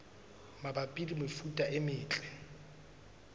mabapi le mefuta e metle